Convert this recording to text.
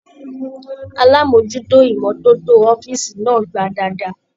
Alamojuto imọ̀toto ọ̀fiísí náà gbà dáadáa.